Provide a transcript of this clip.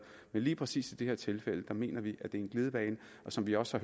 men lige præcis i det her tilfælde mener vi at det er en glidebane og som vi også